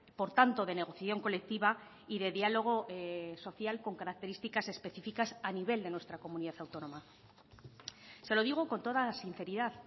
por tanto de negociación colectiva y de diálogo social con características específicas a nivel de nuestra comunidad autónoma se lo digo con toda sinceridad